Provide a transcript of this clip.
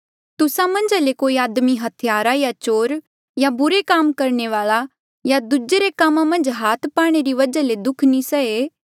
तुस्सा मन्झा ले कोई आदमी हत्यारा या चोर या बुरे काम करणे वाल्आ या दूजे रे कामा मन्झ हाथ पाणे री वजहा ले दुःख नी सहे